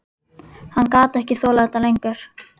Hann gat ekki þolað þetta lengur.